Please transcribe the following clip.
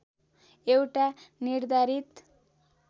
एउटा निर्धारित